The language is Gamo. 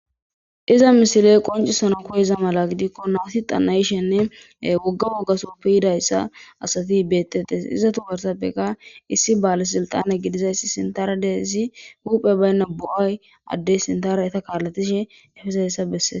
iza misile qoncisanaw koyeiza mala gidikko nawuti xanayishenne wogga woggasupe yidayssa asati beettettes izatu barsappeka issi baales sulxane gidizayssi sintaradezi huphe baynna bu7aay addey sintaraeta kaalatishe efesaessa bessees